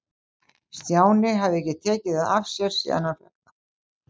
Stjáni hafði ekki tekið það af sér síðan hann fékk það.